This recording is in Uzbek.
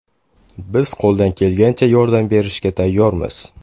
Biz qo‘ldan kelgancha yordam berishga tayyormiz”.